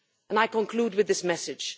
I conclude with this message.